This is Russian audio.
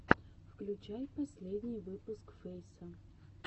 включай последний выпуск фейса